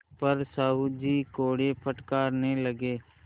पर साहु जी कोड़े फटकारने लगे